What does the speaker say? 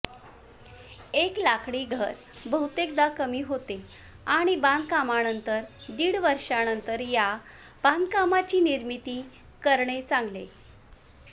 एक लाकडी घर बहुतेकदा कमी होते आणि बांधकामानंतर दीड वर्षानंतर या बांधकामांची निर्मिती करणे चांगले